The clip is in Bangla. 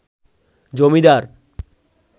জমিদার